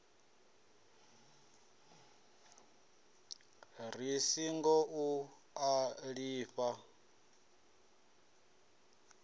ri singo u a lifha